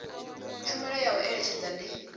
tshumelo ya u eletshedza ndi